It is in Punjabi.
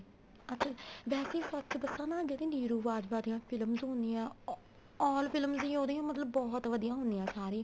ਅੱਛਾ ਵੈਸੇ ਈ ਫ਼ਰਕ ਦੱਸਾਂ ਨਾ ਜਿਹੜੀ ਨਿਰੂ ਬਾਜਵਾ ਦੀਆਂ films ਹੁੰਦੀਆਂ ਓ all films ਦੀਆਂ ਉਹਦੀਆਂ ਮਤਲਬ ਬਹੁਤ ਵਧੀਆ ਹੁੰਦੀਆਂ ਸਾਰੀ